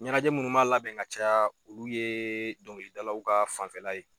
Ɲɛnajɛ munnu n b'a labɛn ka caya olu ye dɔnkili dalaw ka fanfɛla ye.